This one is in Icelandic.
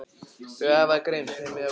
Þau æfa grimmt heima hjá Kókó.